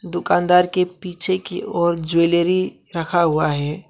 दुकानदार के पीछे की ओर ज्वेलरी रखा हुआ है।